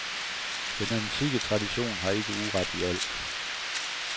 Den antikke tradition har ikke uret i alt.